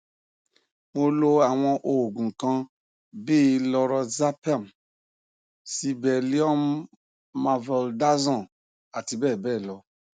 mo lo àwọn oògùn kan bíi lorazepam sibelliumvaldaxon àti bẹẹ lọ